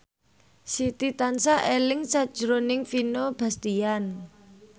Siti tansah eling sakjroning Vino Bastian